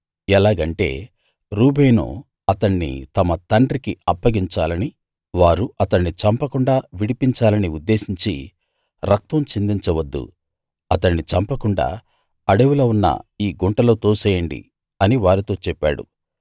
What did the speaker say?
ఎలాగంటే రూబేను అతణ్ణి తమ తండ్రికి అప్పగించాలని వారు అతణ్ణి చంపకుండా విడిపించాలని ఉద్దేశించి రక్తం చిందించ వద్దు అతణ్ణి చంపకుండా అడవిలో ఉన్న ఈ గుంటలో తోసేయండి అని వారితో చెప్పాడు